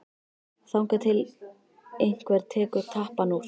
Þangað til einhver tekur tappann úr.